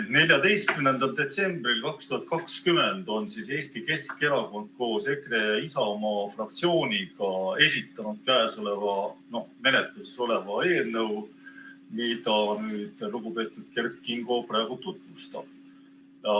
14. detsembril 2020 on Eesti Keskerakond koos EKRE ja Isamaa fraktsiooniga esitanud käesoleva eelnõu, mida lugupeetud Kert Kingo praegu tutvustab.